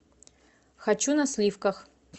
хочу на сливках